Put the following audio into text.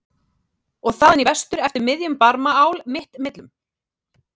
og þaðan í vestur eftir miðjum Barmaál mitt millum?